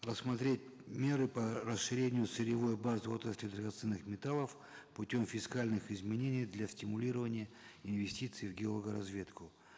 рассмотреть меры по расширению сырьевой базы отрасли драгоценных металлов путем фискальных изменений для стимулирования инвестиций в геологоразведку